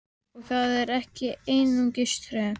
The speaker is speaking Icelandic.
Og það er ekki einungis tromp!